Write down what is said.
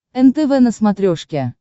нтв на смотрешке